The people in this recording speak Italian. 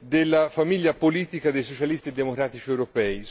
della famiglia politica dei socialisti e democratici europei.